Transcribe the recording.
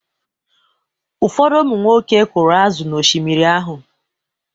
Ụfọdụ ụmụnwoke kụrụ azụ̀ n’Oshimiri ahụ.